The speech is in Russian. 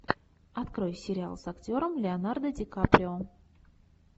открой сериал с актером леонардо ди каприо